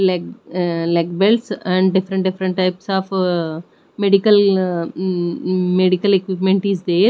leg ah leg belts and different different types of medical hm hm medical equipment is there.